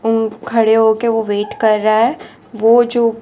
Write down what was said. ऊं खड़े होके वो वेट कर रहा है वो जो --